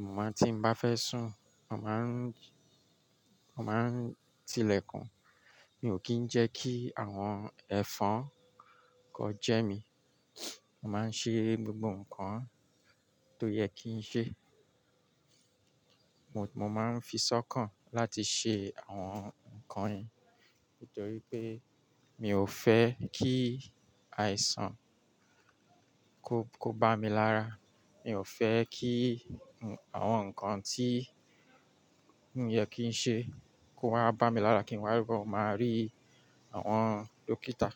Mo máa tí n bá fẹ́ sùn, mo màá ń, mo màá ń tilẹ̀kùn. Mi ò kí ń jẹ́ kí àwọn ẹ̀fọn kó jẹ mí. Màá ń ṣe gbogbo nǹkan tó yẹ kí n ṣe. Mo, mo máa ń fisọ́kàn láti ṣe àwọn nǹkan yìí nítorí pé mi ò fẹ́ kí àìsàn. Kó, kó bá mi lára. Mi ò fẹ́ kí àwọn nǹkan tí kò yẹ kí n ṣe kó wá bá mi lára kí n wá lo máa rí àwọn dókítà.